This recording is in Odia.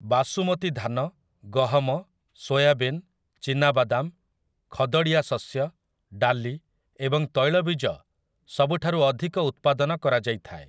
ବାସୁମତୀ ଧାନ, ଗହମ, ସୋୟାବିନ୍, ଚିନାବାଦାମ, ଖଦଡ଼ିଆ ଶସ୍ୟ, ଡାଲି ଏବଂ ତୈଳବୀଜ ସବୁଠାରୁ ଅଧିକ ଉତ୍ପାଦନ କରାଯାଇଥାଏ ।